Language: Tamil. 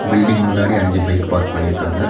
பில்டிங் முன்னாடி அஞ்சு பைக் பார்க் பண்ணிருக்காங்க.